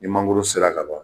Ni mangoro sera ka ban